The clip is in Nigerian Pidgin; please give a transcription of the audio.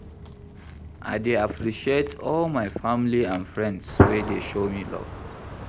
I dey appreciate all my family and friends wey dey show me love.